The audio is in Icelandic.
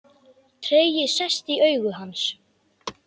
Tregi sest í augu hans.